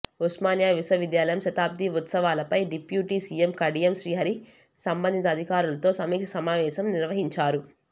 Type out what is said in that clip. ఉస్మానియా విశ్వ విద్యాలయం శతాబ్ది ఉత్సవాలపై డిప్యూటీ సీఎం కడియం శ్రీహరి సంబంధిత అధికారులతో సమీక్ష సమావేశం నిర్వహించారు